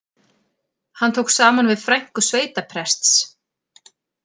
Hann tók saman við frænku sveitaprests